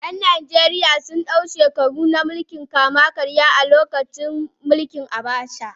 ’Yan Najeriya sun dau shekaru na mulkin kama-karya a lokacin mulkin Abacha.